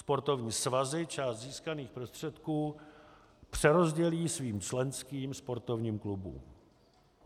Sportovní svazy část získaných prostředků přerozdělí svým členským sportovním klubům.